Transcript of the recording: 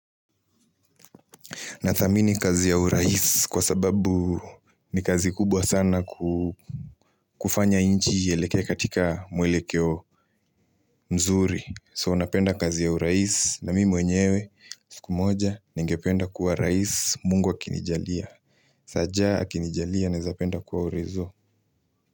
Na thamini kazi ya urais kwa sababu ni kazi kubwa sana kufanya nchi iyelekee katika mwelekeo mzuri. So unapenda kazi ya urais na mi mwenyewe sikumoja ningependa kuwa rais mungu akini jalia. Saja akini jalia nawezapenda kuwa orezo.